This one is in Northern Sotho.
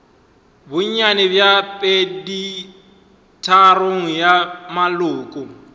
bonnyane bja peditharong ya maloko